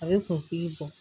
A bɛ kunsigi bɔ